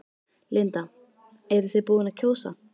Linda: Eruð þið búin að kjósa?